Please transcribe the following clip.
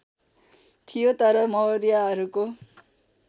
थियो तर मौर्यहरूको